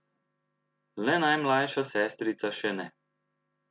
Le najmlajša sestrica še ne.